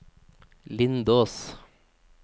Lindås